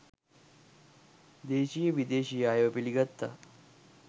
දේශීය විදේශීය අයව පිළිගත්තා.